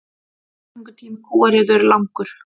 Meðgöngutími kúariðu er langur.